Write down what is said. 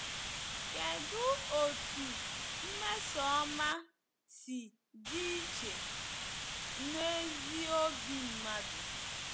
Kedụ otú mmesoọma si dị iche n’ezi obi mmadụ?